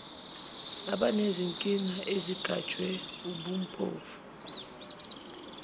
abanezinkinga ezigajwe wubumpofu